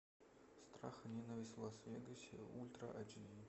страх и ненависть в лас вегасе ультра эйч ди